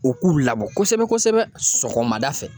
O k'u labɔ kosɛbɛ kosɛbɛ sɔgɔmada fɛ.